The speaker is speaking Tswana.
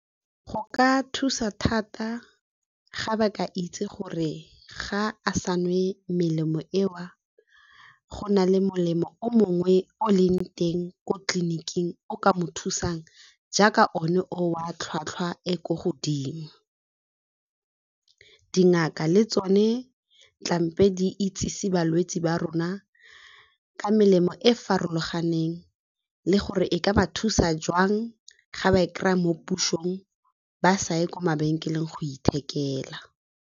Go ka thusa thata ga ba ka itse gore ga a sa nwe melemo eo go na le molemo o mongwe o leng teng ko tleliniking o ka mo thusang, jaaka o ne o a tlhwatlhwa e ko godimo. Dingaka le tsone tlamehile di itsise balwetse ba rona ka melemo e farologaneng le gore e ka ba thusa jwang ga ba e kry-a mo pusong ba sa ye kwa mabenkeleng go ithekela.